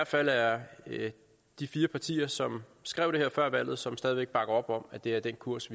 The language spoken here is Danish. fald er de fire partier som har skrevet det her før valget og som stadig væk bakker op om at det er den kurs